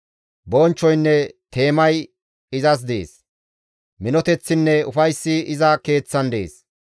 Bonchchoynne teemay izas dees; minoteththinne ufayssi iza Keeththan dees.